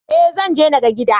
Eh, Zanje naga gidan